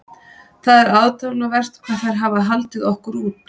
Það er aðdáunarvert hvað þær hafa haldið okkur út.